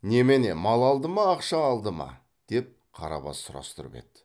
немене мал алды ма ақша алды ма деп қарабас сұрастырып еді